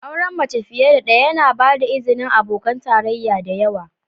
Auren mace fiye da ɗaya yana ba da izinin abokan tarayya da yawa.